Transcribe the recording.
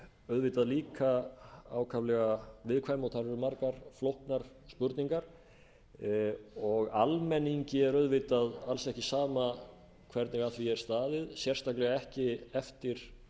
auðvitað líka ákaflega viðkvæm og þar eru margar flóknar spurningar almenningi er auðvitað alls ekki sama hvernig að því er staðið sérstaklega ekki eftir